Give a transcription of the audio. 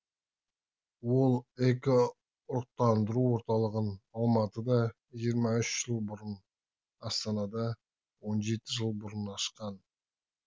ол эко ұрықтандыру орталығын алматыда жиырма үш жыл бұрын астанада он жеті жыл бұрын ашқан